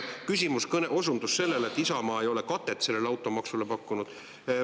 Nüüd osundus sellele, et Isamaa ei ole katet automaksu pakkunud.